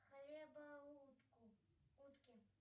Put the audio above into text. хлеба утку утке